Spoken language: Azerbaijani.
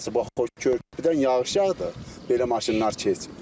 Bax o körpüdən yağış yağdı, belə maşınlar keçir.